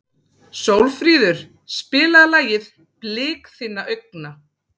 Sólfríður, spilaðu lagið „Blik þinna augna“.